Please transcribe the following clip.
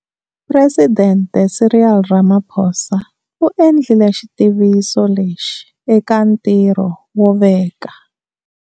Presidente Cyril Ramaphosa u endlile xitiviso lexi eka ntirho wo veka.